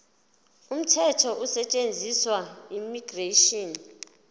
umthetho osetshenziswayo immigration